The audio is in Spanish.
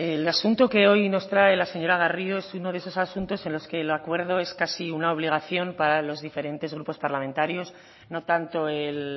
el asunto que hoy nos trae la señora garrido es uno de esos asuntos en los que el acuerdo es casi una obligación para los diferentes grupos parlamentarios no tanto el